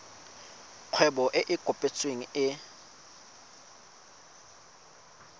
kgwebo e e kopetsweng e